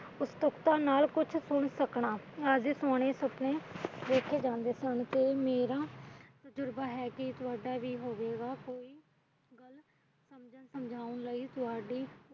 ਉਤਸੁਕਤਾ ਨਾਲ ਕੁਛ ਸੁਣ ਸਕਣਾ ਜਿਸ ਸੋਹਣੇ ਸੁਪਣੇ ਦੇਖੇ ਜਾ ਸਕਦੇ ਹਨ ਤੇ ਮੇਰਾ